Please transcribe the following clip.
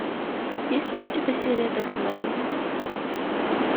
есть ли у тебя серия пять мерлин